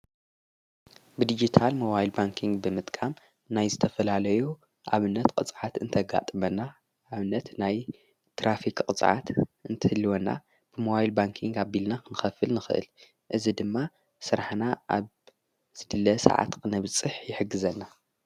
ብዲጊታል መዋይል ባንክን ብምጥቃም ናይ ዝተፈላለዮ ኣብነት ቐጽዓት እንተጋጥመና ኣብነት ናይ ትራፊኽ ቕጽዓት እንትልወና ብመዋይል ባንክን ኣቢልና ክንኸፍል ንኽእል እዝ ድማ ሠራሕና ኣብዝድለ ሰዓት ቕነብጽሕ የሕግዘና።